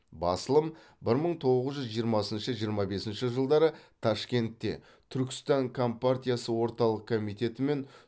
басылым бір мың тоғыз жүз жиырмасыншы жиырма бесінші жылдары ташкентте түркістан компартиясы орталық комитеті мен